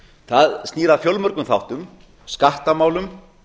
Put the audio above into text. það snýr að fjölmörgum þáttum skattamálum